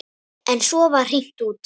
En svo var hringt út.